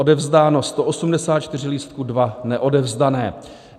Odevzdáno 184 lístků, 2 neodevzdané.